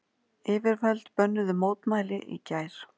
Yfirvöld bönnuðu mótmæli í gær